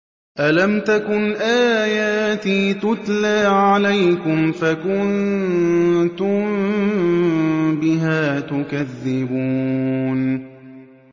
أَلَمْ تَكُنْ آيَاتِي تُتْلَىٰ عَلَيْكُمْ فَكُنتُم بِهَا تُكَذِّبُونَ